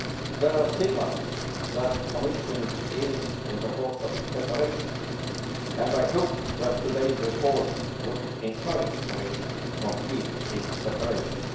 There are signals that the Commission is in the course of preparations and I hope that today's report will encourage the Commission to complete its preparations.